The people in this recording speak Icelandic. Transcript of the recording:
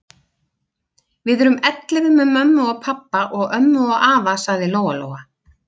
Við erum ellefu með mömmu og pabba og ömmu og afa, sagði Lóa-Lóa.